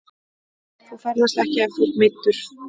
Þú ferðast ekki ef þú ert meiddur.